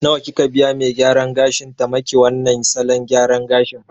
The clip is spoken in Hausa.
Nawa kika biya me gyaran gashin ta maki wannan salon gyaran gashin